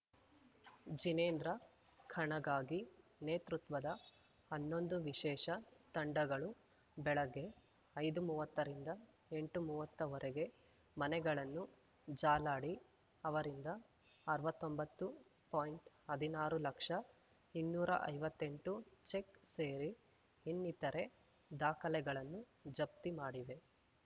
ಜಿನೇಂದ್ರ ಖಣಗಾಗಿ ನೇತೃತ್ವದ ಹನ್ನೊಂದು ವಿಶೇಷ ತಂಡಗಳು ಬೆಳಗ್ಗೆ ಐದುಮುವ್ವತ್ತ ರಿಂದ ಎಂಟುಮುವ್ವತ್ತವರೆಗೆ ಮನೆಗಳನ್ನು ಜಾಲಾಡಿ ಅವರಿಂದ ಅರವತ್ತೊಂಬತ್ತು ಪಾಯಿಂಟ್ಅದಿನಾರು ಲಕ್ಷ ಇನ್ನೂರ ಐವತ್ತೆಂಟು ಚೆಕ್‌ ಸೇರಿ ಇನ್ನಿತರೆ ದಾಖಲೆಗಳನ್ನು ಜಪ್ತಿ ಮಾಡಿವೆ